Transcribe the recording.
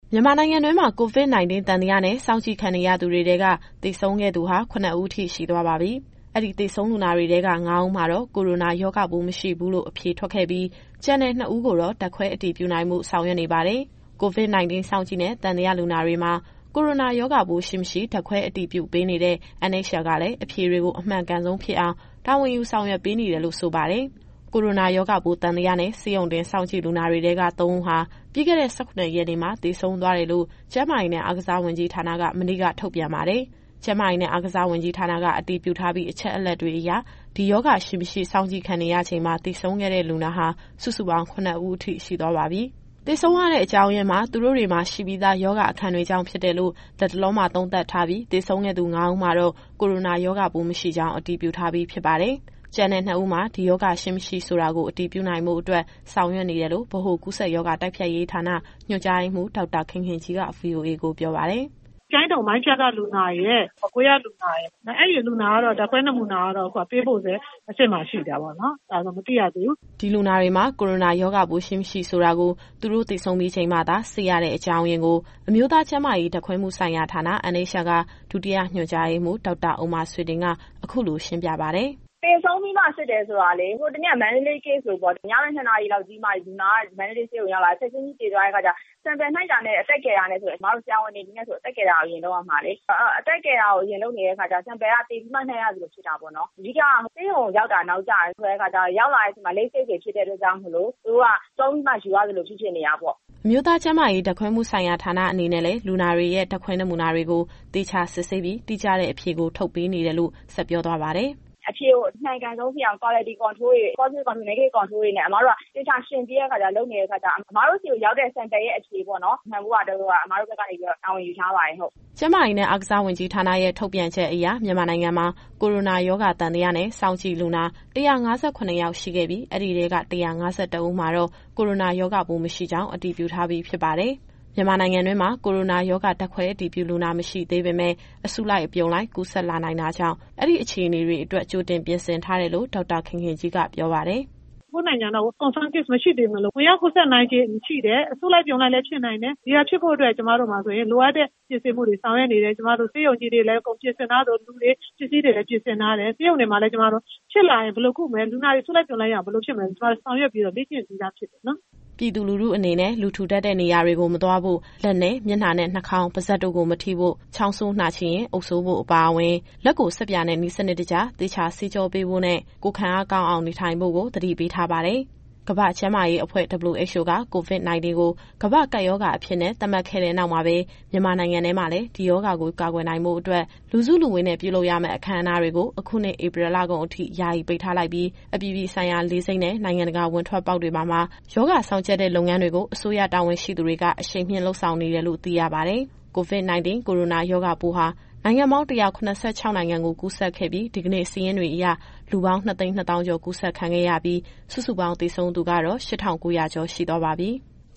မြန်မာနိုင်ငံတွင်းမှာ COVID-19 သံသယနဲ့ စောင့်ကြည့်ခံနေရသူတွေထဲက သေဆုံးခဲ့သူဟာ ၇ ဦး ရှိသွားပါပြီ။ အဲဒီသေဆုံးလူနာတွေထဲက ၅ ဦးမှာတော့ ကိုရိုနာရောဂါပိုး မရှိဘူးလို့ အဖြေထွက်ခဲ့ပြီး၊ ကျန်တဲ့ ၂ ဦးကိုတော့ ဓာတ်ခွဲအတည်ပြုနိုင်ဖို့ ဆောင်ရွက်နေပါတယ်။ COVID-19 စောင့်ကြည့်နဲ့ သံသယလူနာတွေမှာ ကိုရိုနာရောဂါပိုးရှိ၊ မရှိ ဓာတ်ခွဲအတည်ပြုပေးနေတဲ့ NHL ကလည်း အဖြေတွေကို အမှန်ကန်ဆုံးဖြစ်အောင် တာဝန်ယူဆောင်ရွက်ပေးနေတယ်လို့ ဆိုပါတယ်။ အပြည့်အစုံကိုတော့ ဗွီအိုအေသတင်းထောက် စုစုက ပြောပြသွားမှာပါ။ ကိုရိုနာရောဂါပိုး သံသယနဲ့ ဆေးရုံတင်စောင့်ကြည့်လူနာတွေထဲက ၃ ဦးဟာ ပြီးခဲ့တဲ့ ၁၇ ရက်နေ့မှာ သေဆုံးသွားတယ်လို့ ကျန်းမာရေးနဲ့ အားကစားဝန်ကြီးဌာနက မနေ့ညက ထုတ်ပြန်ပါတယ်။ ကျန်းမာရေးနဲ့ အားကစားဝန်ကြီးဌာနက အတည်ပြုထားပြီး အချက်အလက်တွေအရ ဒီရောဂါရှိ မရှိစောင့်ကြည့်ခံနေရချိန်မှာပဲ သေဆုံးခဲ့တဲ့လူနာဟာ စုစုပေါင်း ၇ ဦးအထိ ရှိသွားပါပြီ။ ကျန်တဲ့၂ ဦးမှာ ဒီရောဂါရှိ၊ မရှိဆိုတာကို အတည်ပြုနိုင်ဖို့အတွက် ဆောင်ရွက်နေတယ်လို့ ဗဟိုကူးစက်ရောဂါ တိုက်ဖျက်ရေးဌာန ညွှန်ကြားရေးမှူး ဒေါက်တာခင်ခင်ကြီးက ဗွီအိုအေကိုပြောပါတယ်။ “ကျိုင်းတုံ မိုင်းဖြတ်က လူနာရယ်၊ မကွေးကလူနာရယ်။ အဲဒီလူနာတွေရဲ့ ဓာတ်ခွဲနမူနာကတော့ အခုကပေးပို့ဆဲ အဆင့်မှာ ရှိသေးတာပေါ့နော်။ ဒါဆို မသိရသေးဘူး။” ဒီလူနာတွေမှာ ကိုရိုနာရောဂါပိုးရှိ၊ မရှိဆိုတာကို သူတို့သေဆုံးပြီးချိန်မှသာ စစ်ရတဲ့အကြောင်းရင်းကို အမျိုးသားကျန်းမာရေး ဓာတ်ခွဲမှုဆိုင်ရာဌာန NHL က ဒုတိယညွှန်ကြားရေးမှူး ဒေါက်တာဥမ္မာဆွေတင်က အခုလိုရှင်းပြပါတယ်။ “သေဆုံးပြီးမှ စစ်တယ်ဆိုတာလေ ဟိုတနေ့က မန္တလေး Case လိုပေါ့။ ညဘက် ၂ နာရီလောက်ကြီးမှ လူနာက မန္တလေးဆေးရုံကို ရောက်လာတယ်။ ချက်ချင်းကြီးသေသွားတဲ့ အခါကျတော့ Sample ယူတာနဲ့ အသက်ကယ်တာနဲ့ဆို အမတို့ ဆရာဝန်တွေ အနေနဲ့ဆို အသက်ကယ်တာကို အရင်လုပ်ရမှာလေ။ အဲတော့ အသက်ကယ်တာကို အရင်လုပ်နေတဲ့ အခါကျတော့ Sample က သေပြီးမှ ယူရသလိုဖြစ်တာပေါ့နော်။ အဓိက က ဆေးရုံကိုရောက်တာ နောက်ကျတယ်။ ဆိုတဲ့အခါကျတော့ ရောက်လာတဲ့အချိန်မှာ Late Case တွေ ဖြစ်တဲ့အတွက်ကြောင့်မို့လို့ သူတို့က ဆုံးပြီးမှယူရသလို ဖြစ်ဖြစ်နေတာပေါ့။” အမျိုးသားကျန်းမာရေး ဓာတ်ခွဲမှုဆိုင်ရာဌာန အနေနဲ့လည်း လူနာတွေရဲ့ ဓာတ်ခွဲနမူနာတွေကို သေချာစစ်ဆေးပြီး တိကျတဲ့အဖြေကို ထုတ်ပေးနေတယ်လို့ ဆက်ပြောသွားပါတယ်။ “အဖြေကို အမှန်ကန်ဆုံးဖြစ်အောင် Quality Control တွေ Positive Control ၊ Negative Control တွေနဲ့ အမတို့က သေချာယှဉ်ပြီးတော့ လုပ်နေတဲ့အခါကျတော့ အမတို့ဆီကိုရောက်တဲ့ Sample ရဲ့ အဖြေပေါ့နော် မှန်ဖို့ရာအတွက်က အမတို့ဘက်ကနေပြီးတော့ တာဝန်ယူထားပါတယ်။” ကျန်းမာရေးနဲ့ အားကစားဝန်ကြီးဌာနရဲ့ ထုတ်ပြန်ချက်အရ မြန်မာနိုင်ငံမှာ ကိုရိုနာရောဂါ သံသယနဲ့ စောင့်ကြည့်လူနာ ၁၅၇ ယောက်ရှိခဲ့ပြီး အဲဒီထဲက ၁၅၁ ဦးမှာတော့ ကိုရိုနာရောဂါပိုး မရှိကြောင်း အတည်ပြုထားပြီးဖြစ်ပါတယ်။ မြန်မာနိုင်ငံတွင်းမှာ ကိုရိုနာရောဂါ ဓာတ်ခွဲအတည်ပြုလူနာ မရှိသေးပေမဲ့ အစုလိုက် အပြုံလိုက် ကူးစက်လာနိုင်တာကြောင့် အဲဒီအခြေအနေတွေအတွက် ကြိုတင်ပြင်ဆင်ထားတယ်လို့ ဒေါက်တာခင်ခင်ကြီးက ပြောပါတယ်။ “ကိုယ့်နိုင်ငံကတော့ Confirm Case မရှိသေးပေမဲ့လို့ ဝင်ရောက်ကူးစက်နိုင်ချေရှိတယ်။ အစုလိုက် အပြုံလိုက်လည်း ဖြစ်နိုင်တယ်။ ဒီဟာတွေအတွက် ကျမတို့မှာ လိုအပ်တဲ့ပြင်ဆင်မှုတွေ ဆောင်ရွက်နေတယ်။ ကျမတို့ ဆေးရုံကြီးတွေလည်း အကုန်ပြင်ဆင်ထားသလို၊ လူတွေ ပစ္စည်းတွေလည်း ပြင်ဆင်ထားတယ်။ ဆေးရုံတွေမှာလည်း ကျမတို့ ဖြစ်လာရင် ဘယ်လိုကုမလဲ။ လူနာတွေအစုလိုက် အပြုံလိုက်ရောက်လာရင် ဘယ်လိုဖြစ်မလဲဆိုတာ ကျမတို့ ဆောင်ရွက်ပြီးတော့ လေ့ကျင့်ပြီးသားဖြစ်ပါတယ်။” ပြည်သူလူထုအနေနဲ့ လူထူထပ်တဲ့နေရာတွေ မသွားဖို့၊ လက်နဲ့ မျက်နှာနဲ့ နှာခေါင်း၊ ပါးစပ်တို့ကို မထိဖို့၊ ချောင်းဆိုးနှာချေရင် အုပ်စိုးဖို့အပါအဝင်၊ လက်ကိုဆပ်ပြာနဲ့ နည်းစနစ်တကျ သေချာဆေးကြောပေးဖို့နဲ့ ကိုယ်ခံအားကောင်းအောင် နေထိုင်ဖို့ကို သတိပေးထားပါတယ်။ ကမ္ဘာ့ကျန်းမာရေးအဖွဲ့ WHO က COVID-19 ကို ကမ္ဘာ့ကပ်ရောဂါအဖြစ် သတ်မှတ်ခဲ့တဲ့နောက်မှာပဲ မြန်မာနိုင်ငံထဲမှာလည်း ဒီရောဂါကို ကာကွယ်နိုင်ဖို့အတွက် လူစုလူဝေးနဲ့ ပြုလုပ်ရမယ့် အခမ်းအနားတွေကို အခုနှစ် ဧပြီလကုန်အထိ ယာယီပိတ်ထားလိုက်ပြီး၊ အပြည်ပြည်ဆိုင်ရာ လေဆိပ်နဲ့ နိုင်ငံတကာဝင်ထွက်ပေါက်တွေမှာပါ ရောဂါစောင့်ကြပ်တဲ့ လုပ်ငန်းတွေကို အစိုးရတာဝန်ရှိသူတွေက အရှိန်မြှင့်လုပ်ဆောင်နေတယ်လို့ သိရပါတယ်။ COVID-19 ကိုရိုနာရောဂါပိုးဟာ နိုင်ငံပေါင်း ၁၇၆ နိုင်ငံကို ကူးစက်ခဲ့ပြီး ဒီကနေ့စာရင်းတွေအရ လူပေါင်း ၂၂၀,၀၀၀ ကျော် ကူးစက်ခံခဲ့ရပြီး စုစုပေါင်းသေဆုံးသူကတော့ ၈,၉၀၀ ကျော် ရှိသွားပါပြီ။